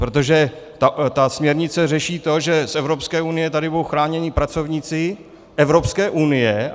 Protože ta směrnice řeší to, že z Evropské unie tady budou chráněni pracovníci Evropské unie.